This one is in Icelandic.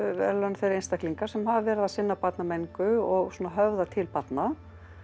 þeir einstaklingar sem hafa verið að sinna barnamenningu og svona höfða til barna